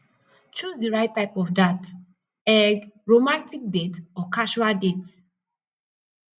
choose di right type of dat eg romantic date or casual date